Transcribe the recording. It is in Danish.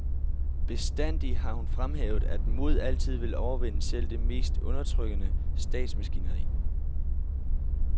Bestandig har hun fremhævet, at mod altid vil overvinde selv det mest undertrykkende statsmaskineri.